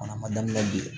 Fana ma daminɛ bilen